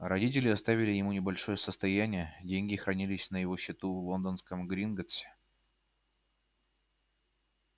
родители оставили ему небольшое состояние деньги хранились на его счету в лондонском гринготтсе